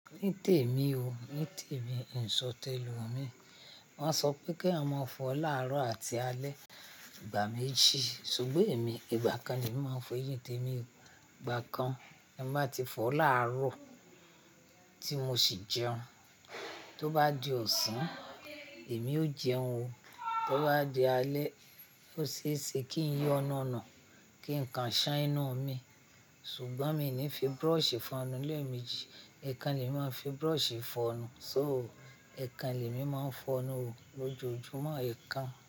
Ní tèmi o, ní tèmi, n sọ̀ tẹ̀lomi. Wón sọ pé kí eeyan máa fọ láàárọ̀ àti alẹ́ ìgbà méjì, ṣùgbọ́n èmi ìgbà kan ni màá n fo èyìn tèmi igba kan. Bi n báa ti fọ láàárọ̀ tí mo sì jẹun. Tó bá di ọ̀sán, èmi ó jẹun o. Tó bá di alẹ́, ó ṣe é ṣe kí n yọ́ nu nu kí nǹkan ṣán enú mi. Ṣùgbọ́n mi ò ní fi brush fọnu lemeji. Ẹ̀kan lè mi máa n fi brushi fọnu. So, ẹ̀kan lè mi máa ń fọnú o lójoojúmọ́ ẹ̀kan.